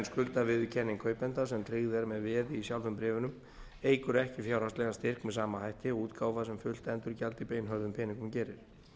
skuldaviðurkenning kaupanda sem tryggð er með veði í sjálfum bréfunum eykur ekki fjárhagslegan styrk með sama hætti og útgáfa sem fullt endurgjald í beinhörðum peningum gerir